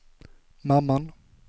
mamman